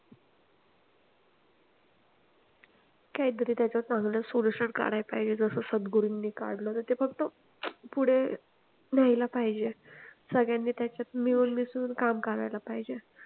काहीतरी त्याचं चांगलं sollytion काढायला पाहिजे जस सद्गुरूनी काढलं ते फक्त पुढे यायला पाहिजे सगळ्यांनी त्याच्यात मिळून मिसळून काम करायला पाहिजे